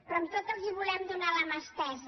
però amb tot els volem donar la mà estesa